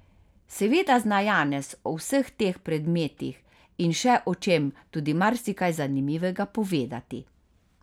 Seveda zna Janez o vseh teh predmetih in še o čem tudi marsikaj zanimivega povedati.